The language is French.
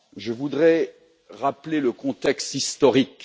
Je voudrais rappeler le contexte historique.